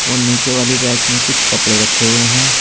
और नीचे वाली रैक में कुछ कपड़े रखे हुए हैं।